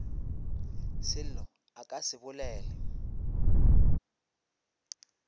selo a ka se bolele